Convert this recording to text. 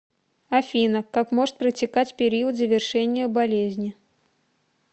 афина как может протекать периодзавершения болезни